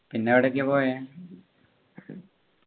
പിന്നെ എവിടെഒക്കെയാ പോയെ